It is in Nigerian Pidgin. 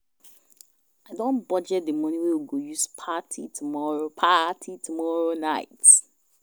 I don budget the money wey we go use party tomorrow party tomorrow night